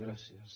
gràcies